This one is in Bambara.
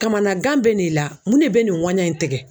Kamanagan bɛ n'i la mun ne bɛ nin ŋuwanɲan in tigɛ?